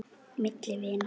Milli vina.